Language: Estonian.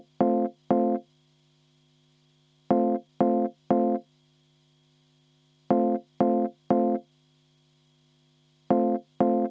Ma vaatasin, et te jäätegi vestlema.